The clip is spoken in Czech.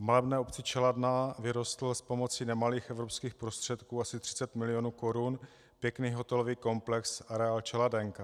V malebné obci Čeladná vyrostl s pomocí nemalých evropských prostředků, asi 30 milionů korun, pěkný hotelový komplex, areál Čeladenka.